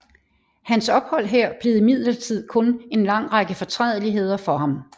Hans ophold her blev imidlertid kun en lang række fortrædeligheder for ham